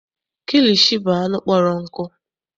Kilishi bụ anụ kpọrọ nkụ.